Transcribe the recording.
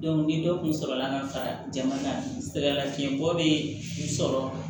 ni dɔ kun sɔrɔla ka fara jama kan sɛgɛ lafiɲɛ bɔ bɛ i sɔrɔ